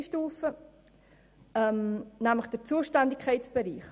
Zur dritten Stufe, dem Zuständigkeitsbereich.